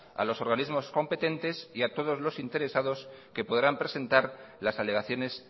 a los organismos competentes y a todos los interesados que podrán presentar las alegaciones